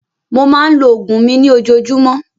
Mo máa ń lo oògùn mi ní Ojoojúmọ́